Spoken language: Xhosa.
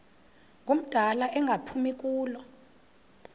ngumdala engaphumi kulo